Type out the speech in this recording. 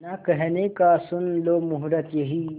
ना कहने का सुन लो मुहूर्त यही